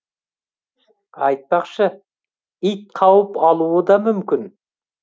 айтпақшы ит қауіп алуы да мүмкін